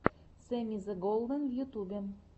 сэмми зе голден в ютьюбе